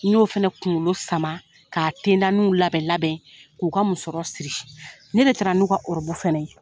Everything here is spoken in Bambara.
N' ɲo fana kunkolo sama k'a tendanu nlabɛn labɛn k'u ka musɔrɔ siri, ne de taara n'u ka fɛna ye.